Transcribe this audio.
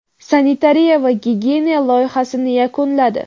sanitariya va gigiyena loyihasini yakunladi.